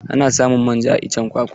Ana samun manja a iccen kwakwa.